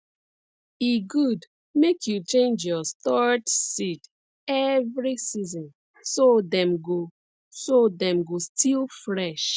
e good make you change your stored seeds every season so dem go so dem go still fresh